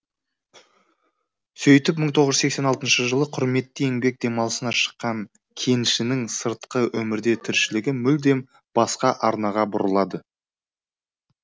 сөйтіп мың тоғыз жүз сексен алтыншы жылы құрметті еңбек демалысына шыққан кеншінің сыртқы өмірде тіршілігі мүлде басқа арнаға бұрылады